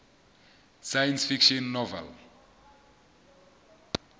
science fiction novel